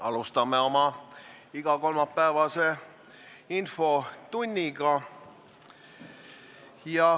Alustame oma igakolmapäevast infotundi.